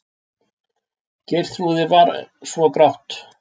Geirþrúði svo grátt.